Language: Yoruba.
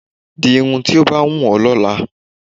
Di irun tí ó bá wù ọ́ lọ́la